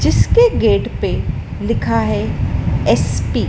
जिसके गेट पे लिखा है एस_पी ।